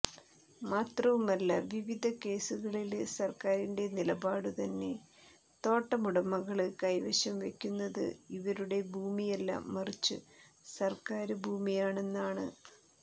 മാത്രവുമല്ല വിവിധ കേസുകളില് സര്ക്കാരിന്റെ നിലപാടു തന്നെ തോട്ടമുടമകള് കൈവശംവയ്ക്കുന്നത് ഇവരുടെ ഭൂമിയല്ല മറിച്ച് സര്ക്കാര് ഭൂമിയാണെന്നാണ്